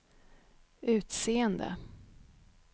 utseende